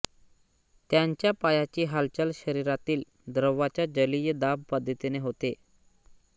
त्यांच्या पायाची हालचाल शरीरातील द्रवाच्या जलीय दाब पद्धतीने होते